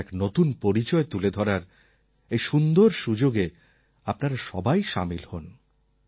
ভারতের এক নতুন পরিচয় তুলে ধরার এই সুন্দর সুযোগে আপনারা সবাই সামিল হোন